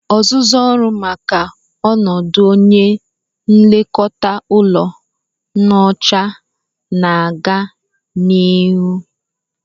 Ọzụzụ ọrụ maka ọnọdụ onye nlekọta ụlọ nyocha na-aga n'ihu